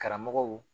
Karamɔgɔw